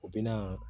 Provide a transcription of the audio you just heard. U bɛ na